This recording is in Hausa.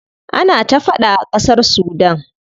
Ana ta faɗa a ƙasar Sudan.